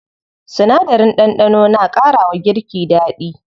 Sinadarin ɗanɗano na ƙara wa girki daɗi.